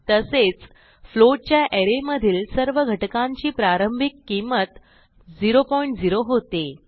तसेच फ्लोट च्या अरे मधील सर्व घटकांची प्रारंभिक किंमत 00 होते